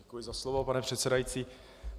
Děkuji za slovo, pane předsedající.